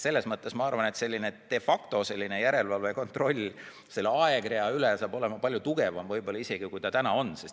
Selles mõttes ma arvan, et selline de facto järelevalve ja kontroll selle aegrea üle saab võib-olla olema palju tugevam, kui see täna on.